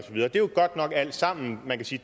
er jo godt nok alt sammen man kan sige